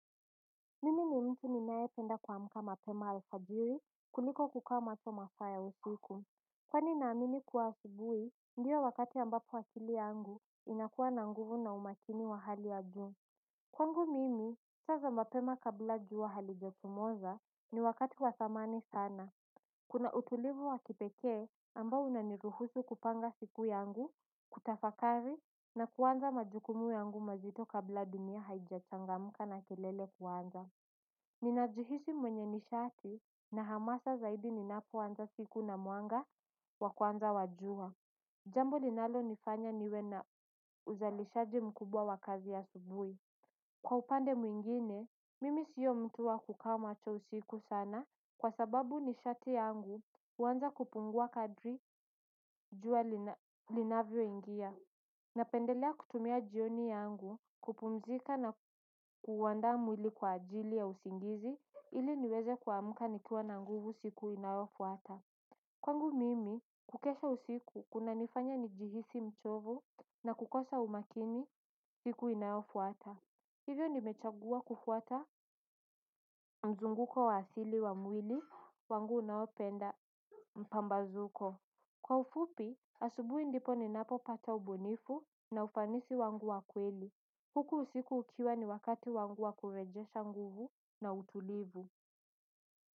Mimi ni mtu ninayependa kuamka mapema alfajiri kuliko kukaa macho masaa ya usiku. Kwani naamini kuwa asubuhi ndio wakati ambapo akili yangu inakuwa na nguvu na umakini wa hali ya juu. Kwangu mimi sasa mapema kabla jua halijachomoza ni wakati wa dhamani sana. Kuna utulivu wa kipekee ambao unaniruhusu kupanga siku yangu, kutafakari na kuanza majukumu yangu mazito kabla dunia haijachangamka na kelele kuanza. Ninajihisi mwenye nishati na hamasa zaidi ninapoanza siku na mwanga wa kuanza wa jua. Jambo linalonifanya niwe na uzalishaji mkubwa wa kazi asubuhi. Kwa upande mwingine, mimi sio mtu wa kukaa macho usiku sana kwa sababu nishati yangu huanza kupungua kadri jua linavyoingia. Napendelea kutumia jioni yangu kupumzika na kuandaa mwili kwa ajili ya usingizi ili niweze kuamka nikiwa na nguvu siku inayofuata. Kwangu mimi, kukesha usiku kunanifanya nijihisi mchovu na kukosa umakini siku inayofuata. Hivyo nimechagua kufuata mzunguko wa asili wa mwili, wangu unaopenda mpambazuko. Kwa ufupi, asubuhi ndipo ninapopata ubunifu na ufanisi wangu wa kweli. Huku usiku ukiwa ni wakati wangu wa kurejesha nguvu na utulivu.